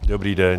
Dobrý den.